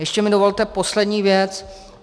Ještě mi dovolte poslední věc.